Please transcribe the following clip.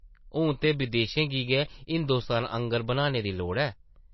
हून ते बदेशें गी गै हिंदोस्तान आंगर बनाने दी लोड़ ऐ।